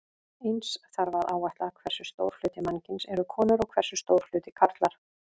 Eins þarf að áætla hversu stór hluti mannkyns eru konur og hversu stór hluti karlar.